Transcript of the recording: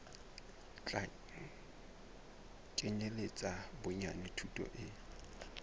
tla kenyeletsa bonyane thuto e